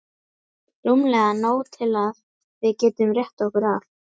Rúmlega nóg til að við getum rétt okkur af.